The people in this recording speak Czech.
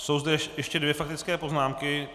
Jsou zde ještě dvě faktické poznámky.